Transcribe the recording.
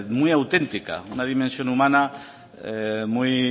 muy auténtica una dimensión humana muy